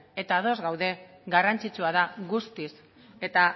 eta ados gaude garrantzitsua da guztiz eta